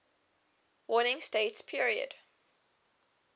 warring states period